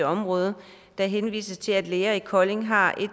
område der henvises til at læger i kolding har